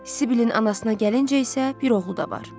Sibilin anasına gəlincə isə bir oğlu da var.